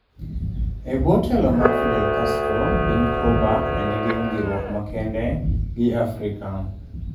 E bwo telo mar Fidel Castro, piny Cuba ne nigi winjruok makende gi Afrika.